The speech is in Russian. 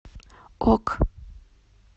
ок